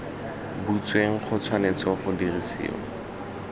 butsweng go tshwanetse ga dirisiwa